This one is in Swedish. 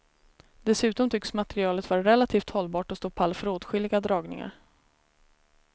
Dessutom tycks materialet vara relativt hållbart och stå pall för åtskilliga dragningar.